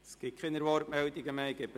Es gibt keine Wortmeldungen mehr.